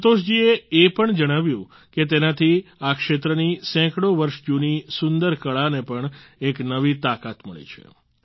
સંતોષ જી એ એ પણ જણાવ્યું કે તેનાથી આ ક્ષેત્રની સેંકડો વર્ષ જૂની સુંદર કળા ને પણ એક નવી તાકાત મળી છે